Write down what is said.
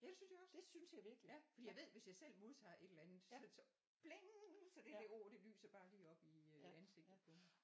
Ja det synes jeg også ja fordi jeg ved at hvis jeg selv modtager et eller andet så det så pling så det ord det lyser bare lige op i øh ansigtet på mig